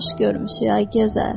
Xoş görmüşük, ay gözəl.